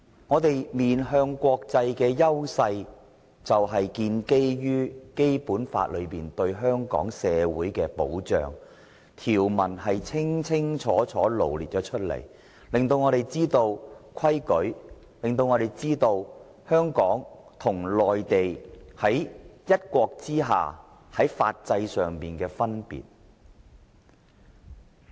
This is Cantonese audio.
香港面向國際的優勢是建基於《基本法》對香港社會的保障，條文是清清楚楚羅列出來的，讓我們知道規矩，以及香港和內地在"一國"之下在法制上的分別。